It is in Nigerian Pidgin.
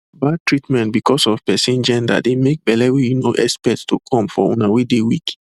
bad treatment because of person genderdey make belle wey you no expect to come for una wey dey weak